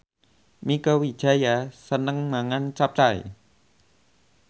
Mieke Wijaya seneng mangan capcay